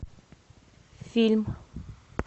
фильм